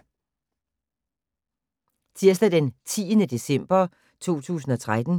Tirsdag d. 10. december 2013